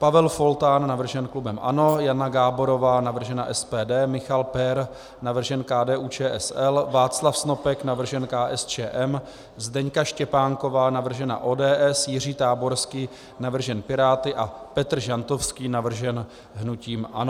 Pavel Foltán, navržen klubem ANO, Jana Gáborová, navržena SPD, Michal Pehr, navržen KDU-ČSL, Václav Snopek, navržen KSČM, Zdeňka Štěpánková, navržena ODS, Jiří Táborský, navržen Piráty, a Petr Žantovský navržen hnutím ANO